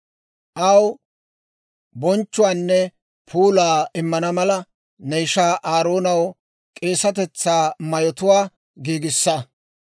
Aw bonchchuwaanne puulaa immana mala, ne ishaa Aaroonaw k'eesatetsaa mayotuwaa giigissa.